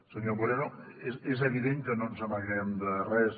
senyor moreno és evident que no ens amaguem de res